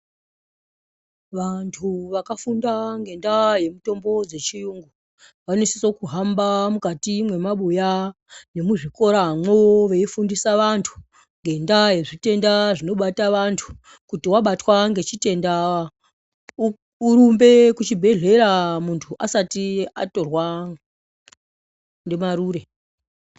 Vantu vakafunda ngendaa yemitombo dzechiyungu vanosise kuhamba mukati mwemabuya muzvikora mwoo veifundisa vantu ngendaa yezvitenda zvinobata vantu kuti wabatwa ngechitenda urumbe kuchibhedhlera muntu asati atorwa ngemarure.